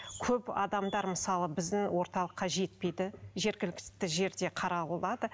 көп адамдар мысалы біздің орталыққа жетпейді жергілікті жерде қаралады